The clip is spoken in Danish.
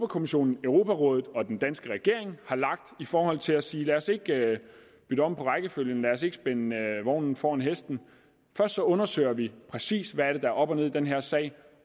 kommissionen europarådet og den danske regering har lagt i forhold til at sige lad os ikke bytte om på rækkefølgen lad os ikke spænde vognen foran hesten først så undersøger vi præcis hvad der er op og ned i den her sag